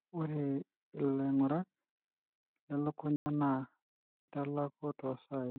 ore ilaingurak lelukunya na kitalaku tosai.